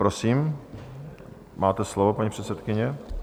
Prosím, máte slovo, paní předsedkyně.